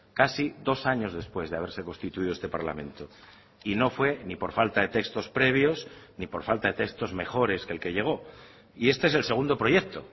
casi dos años después de haberse constituido este parlamento y no fue ni por falta de textos previos ni por falta de textos mejores que el que llegó y este es el segundo proyecto